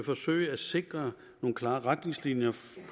forsøge at sikre nogle klare retningslinjer